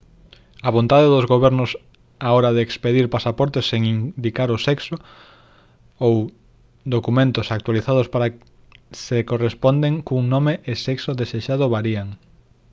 a vontade dos gobernos á hora de expedir pasaportes sen indicar o sexo x ou documentos actualizados para se corresponderen cun nome e sexo desexado varían